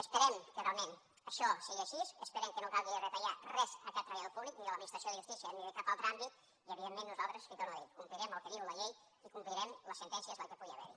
esperem que realment això sigui així esperem que no calgui retallar res a cap treballador públic ni de l’administració de justícia ni de cap altre àmbit i evidentment nosaltres li ho torno a dir complirem el que diu la llei i complirem les sentències que pugui haver hi